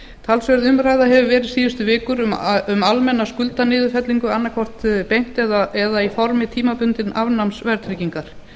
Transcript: talsverð umræða hefur verið síðustu vikur um almenna skuldaniðurfellingu annaðhvort beint eða í formi tímabundins afnáms verðtryggingar